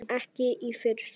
Ekki í fyrstu.